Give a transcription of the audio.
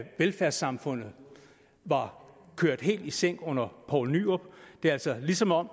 velfærdssamfundet var kørt helt i sænk under poul nyrup det er altså som om